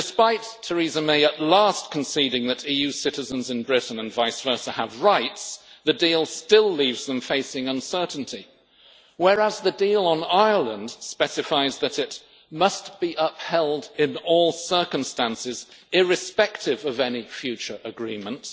Despite Theresa May at last conceding that EU citizens in Britain and vice versa have rights, the deal still leaves them facing uncertainty, whereas the deal on Ireland specifies that it must be upheld in all circumstances, irrespective of any future agreement'.